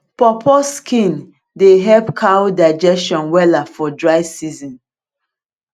pawpaw skin dey help cow digestion wella for dry season